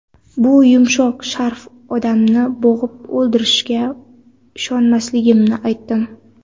Bu yumshoq sharf odamni bo‘g‘ib, o‘ldirishiga ishonmasligimni aytdim.